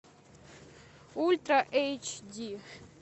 ультра эйч ди